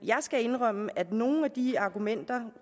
skal indrømme at nogle af de argumenter